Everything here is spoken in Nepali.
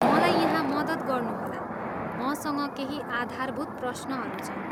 मलाई यहाँ मद्दत गर्नुहोला, मसँग केही आधारभूत प्रश्नहरू छन्।